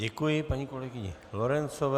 Děkuji paní kolegyni Lorencové.